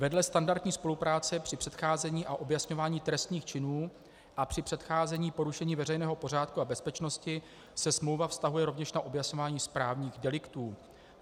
Vedle standardní spolupráce při předcházení a objasňování trestných činů a při předcházení porušení veřejného pořádku a bezpečnosti se smlouva vztahuje rovněž na objasňování správních deliktů.